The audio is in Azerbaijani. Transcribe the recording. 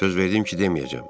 Söz verdim ki, deməyəcəm.